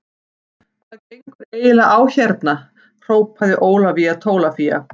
Hvað gengur eiginlega á hérna hrópaði Ólafía Tólafía.